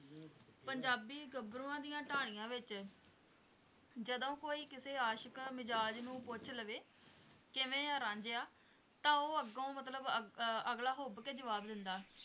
ਪੰਜਾਬੀ ਗੱਭਰੂਆਂ ਦੀਆਂ ਢਾਣੀਆਂ ਵਿੱਚ ਜਦੋਂ ਕੋਈ ਕਿਸੇ ਆਸ਼ਿਕ ਮਿਜ਼ਾਜ਼ ਨੂੰ ਪੁੱਛ ਲਵੇ, ਕਿਵੇਂ ਆਂ ਰਾਂਝਿਆ ਤਾਂ ਉਹ ਅੱਗੋਂ ਮਤਲਬ ਅਗ~ ਅਹ ਅਗਲਾ ਹੁੱਭ ਕੇ ਜਵਾਬ ਦਿੰਦਾ